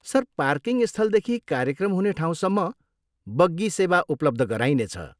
Sir, parking स्थलदेखि कार्यक्रम हुने ठाउँसम्म बग्गी सेवा उपलब्ध गराइनेछ।